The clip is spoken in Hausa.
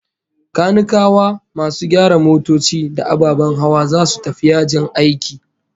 Kanikawa, masu gyara motoci da ababen hawa, zasu tafi yajin aiki